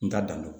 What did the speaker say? N t'a dan do